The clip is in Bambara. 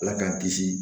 Ala k'an kisi